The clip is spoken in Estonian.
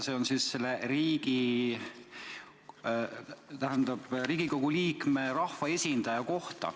See on Riigikogu liikme ehk rahvaesindaja kohta.